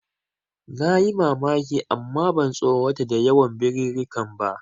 Nayi mamaki amma ban tsorata da yawan birirrikan ba.